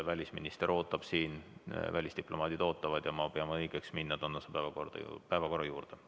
Välisminister ootab ja välisdiplomaadid ootavad, nii et ma pean õigeks minna tänase päevakorra juurde.